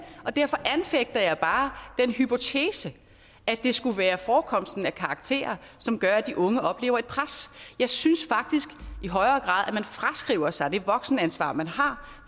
derfor anfægter jeg bare den hypotese at det skulle være forekomsten af karakterer som gør at de unge oplever et pres jeg synes faktisk i højere grad at man fraskriver sig det voksenansvar man har